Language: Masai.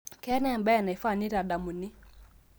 keetae embae naifaa naitadamuni